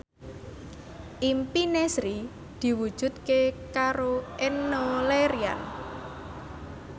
impine Sri diwujudke karo Enno Lerian